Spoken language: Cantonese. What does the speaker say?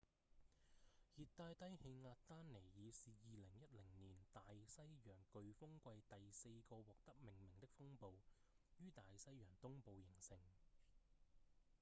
熱帶低氣壓丹妮爾是2010年大西洋颶風季第四個獲得命名的風暴於大西洋東部形成